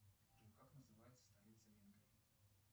джой как называется столица венгрии